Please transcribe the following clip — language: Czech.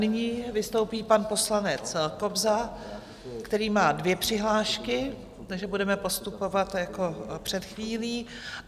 Nyní vystoupí pan poslanec Kobza, který má dvě přihlášky, takže budeme postupovat jako před chvílí.